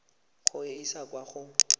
go e isa kwa go